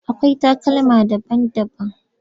Akwai takalma daban-daban.